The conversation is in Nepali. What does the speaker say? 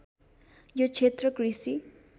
यो क्षेत्र कृषि